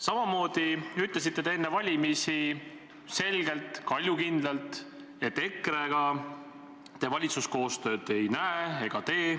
Samamoodi ütlesite enne valimisi selgelt, kaljukindlalt, et EKRE-ga te valitsuskoostööd ei näe ega tee.